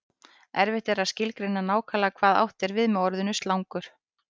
erfitt er að skilgreina nákvæmlega hvað átt er við með orðinu slangur